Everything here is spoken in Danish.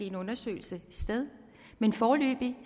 en undersøgelse sted men foreløbig